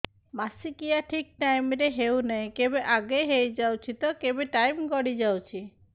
ମାସିକିଆ ଠିକ ଟାଇମ ରେ ହେଉନାହଁ କେବେ ଆଗେ ହେଇଯାଉଛି ତ କେବେ ଟାଇମ ଗଡି ଯାଉଛି